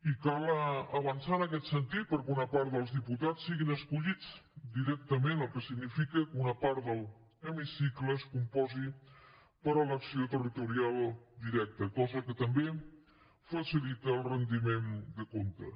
i cal avançar en aquest sentit perquè una part dels diputats siguin escollits directament el que significa que una part de l’hemicicle es compongui per elecció territorial directa cosa que també facilita el rendiment de comptes